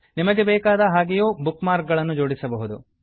ನಿಮಗೆ ಬೇಕಾದ ಹಾಗೆಯೂ ಬುಕ್ ಮಾರ್ಕ್ ಗಳನ್ನು ಜೋಡಿಸಬಹುದು